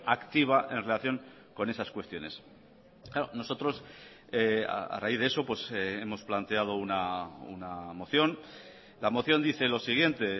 activa en relación con esas cuestiones nosotros a raíz de eso hemos planteado una moción la moción dice lo siguiente